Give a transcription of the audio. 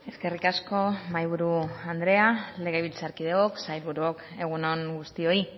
eskerrik asko mahai buru anderea legebiltzarkideok sailburuok egun on guztioi